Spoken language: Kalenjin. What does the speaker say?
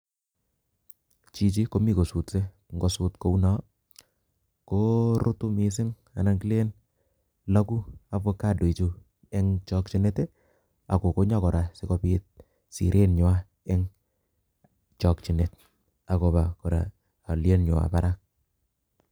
Chichi komi kosutse. Ngosut kouno korutu missing anan kilen lagu avocado ichuu en chokyinet kora sikobit nywany en chokyinet akobaa kora alyienywany barak